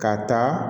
Ka taa